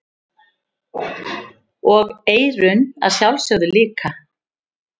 Og eyrun að sjálfsögðu líka.